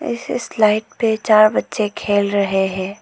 Slide पे चार बच्चे खेल रहे हैं।